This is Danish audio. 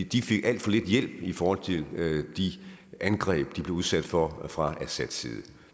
de fik alt for lidt hjælp i forhold til de angreb de blev udsat for fra assads side